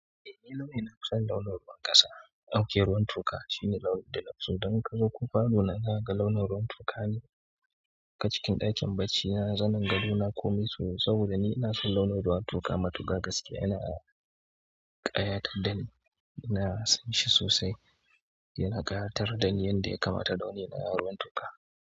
Eh, launi nafi son launin ruwan ƙasa, ok ruwan toka shine launin da na fi so. Don invka zo ko falo na za ga launin ruwan toka ne. Haka cikin ɗakin barci na zanin gadona komi su ne saboda ni ina son launin ruwan toka. Matuƙa gaskiya yana ƙayatar dani, ina son shi sosai. Yana ƙayatar dani yanda ya kamata, launin na ruwan toka.